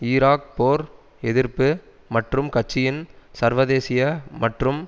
Iraq போர் எதிர்ப்பு மற்றும் கட்சியின் சர்வதேசிய மற்றும்